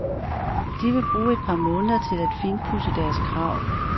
De vil bruge et par måneder til at finpudse deres krav.